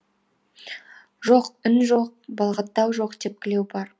жоқ үн жоқ балағаттау бар тепкілеу бар